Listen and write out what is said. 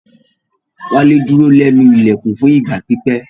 Wale duro lẹnu ilẹkun fun igba pipẹ